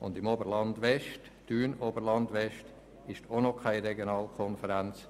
und im Gebiet Thun – Oberland-West ebenfalls.